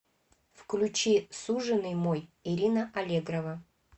включи суженый мой ирина аллегрова